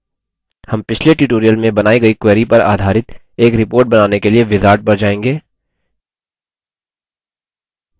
हम पिछले tutorial में बनाई गयी query पर आधारित एक report बनाने के लिए wizard पर जाएँगे